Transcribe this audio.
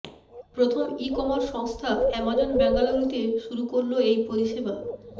প্রথম e commerce সংস্থা Amazon বেঙ্গালুরুতে শুরু করল এই পরিষেবা